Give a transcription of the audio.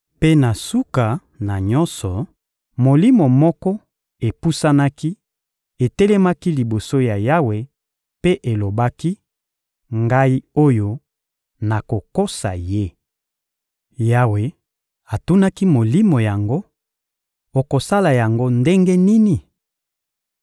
Mpe na suka na nyonso, molimo moko epusanaki, etelemaki liboso ya Yawe mpe elobaki: «Ngai oyo! Nakokosa ye.» Yawe atunaki molimo yango: «Okosala yango ndenge nini?»